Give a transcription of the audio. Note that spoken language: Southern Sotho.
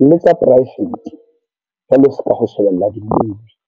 le tsa private, jwalo seka ho shebella di-movie.